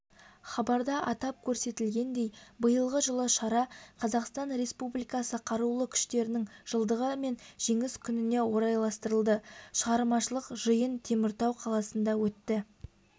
хабарда атап көрсетілгендей биылғы жылы шара қазақстан республикасы қарулы күштерінің жылдығы мен жеңіс күніне орайластырылды шығармашылық жиын теміртау қаласында өтті